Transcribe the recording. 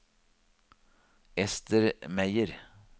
Ester Meyer